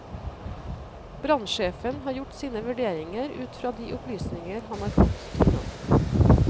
Brannsjefen har gjort sine vurderinger ut fra de opplysninger han har fått til nå.